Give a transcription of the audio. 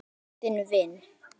Syrgið látinn vin!